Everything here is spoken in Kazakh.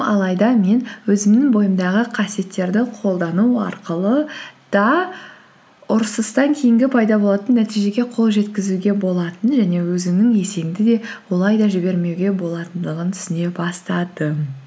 алайда мен өзімнің бойымдағы қасиеттерді қолдану арқылы да ұрысыстан кейінгі пайда болатын нәтежеге қол жеткізуге болатынын және өзіңнің есеңді де олай да жібермеуге болатындығын түсіне бастадым